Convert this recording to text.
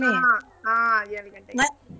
ಹಾ ಹಾ ಏಳ್ ಗಂಟೆಗೆ .